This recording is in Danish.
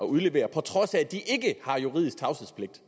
udlevere på trods af at de ikke har juridisk tavshedspligt